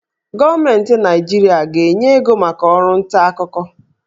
Gọọmenti Naịjirịa a ga-enye ego maka ọrụ ntaakụkọ?